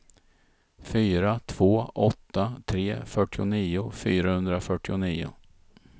fyra två åtta tre fyrtionio fyrahundrafyrtionio